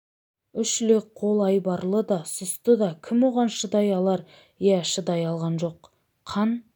үш лек қол айбарлы да сұсты да кім оған шыдай алар иә шыдай алған жоқ қан